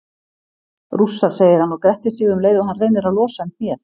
Rússar, segir hann og grettir sig um leið og hann reynir að losa um hnéð.